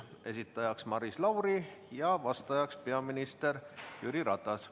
Esitaja on Maris Lauri ja vastaja peaminister Jüri Ratas.